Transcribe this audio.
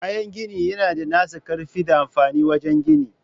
Kayan gini yana da nasa ƙarfi da amfani wajen ginin.